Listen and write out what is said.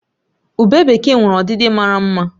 Ubé bekee nwere ọdịdị mara mma